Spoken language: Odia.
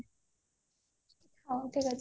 ହଉ ଠିକ ଅଛି